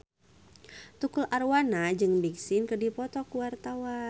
Tukul Arwana jeung Big Sean keur dipoto ku wartawan